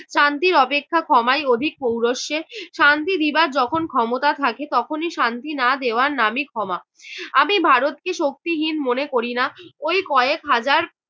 শান্তির অপেক্ষা ক্ষমাই অধিক পৌরোষ্যের। শান্তি বিবাদ যখন ক্ষমতা থাকে তখনই শান্তি না দেওয়ার নামই ক্ষমা। আমি ভারতকে শক্তিহীন মনে করিনা ওই কয়েক হাজার